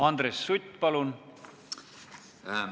Andres Sutt, palun!